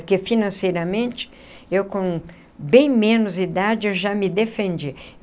Porque financeiramente, eu com bem menos idade, eu já me defendi.